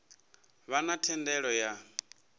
vha na thendelo ya u